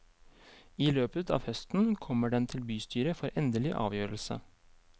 I løpet av høsten kommer den til bystyret for endelig avgjørelse.